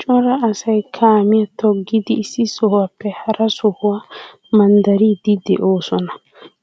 Cora asay kaamiya toggiddi issi sohuwappe hara sohuwa manddariddi de'osonna.